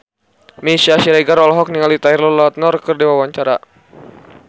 Meisya Siregar olohok ningali Taylor Lautner keur diwawancara